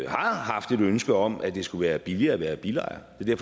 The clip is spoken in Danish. har haft et ønske om at det skulle være billigere at være bilejer det er